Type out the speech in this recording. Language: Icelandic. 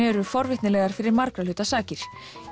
eru forvitnilegar fyrir margra hluta sakir